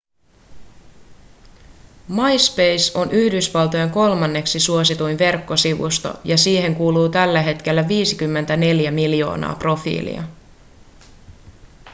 myspace on yhdysvaltojen kolmanneksi suosituin verkkosivusto ja siihen kuuluu tällä hetkellä 54 miljoonaa profiilia